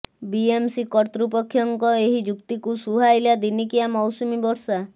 BMC କର୍ତ୍ତୃପକ୍ଷଙ୍କ ଏହି ଯୁକ୍ତିକୁ ସୁହାଇଲା ଦିନିକିଆ ମୌସୁମୀ ବର୍ଷା